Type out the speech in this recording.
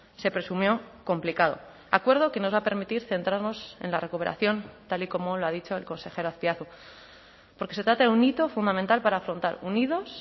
se presumió complicado acuerdo que nos va a permitir centrarnos en la recuperación tal y como lo ha dicho el consejero azpiazu porque se trata de un hito fundamental para afrontar unidos